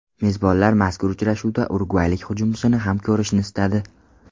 Mezbonlar mazkur uchrashuvda urugvaylik hujumchini ham ko‘rishni istadi.